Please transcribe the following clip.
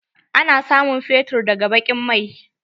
Ana samun fetur daga baƙin mai.